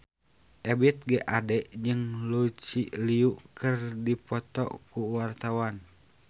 Ebith G. Ade jeung Lucy Liu keur dipoto ku wartawan